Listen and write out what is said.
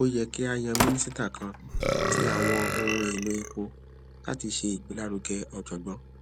o yẹ ki a yan minisita kan ti awọn ohun elo epo lati ṣe igbelaruge ọjọgbọn